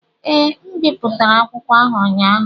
Ee, M bipụtara akwụkwọ ahụ ụnyaahụ.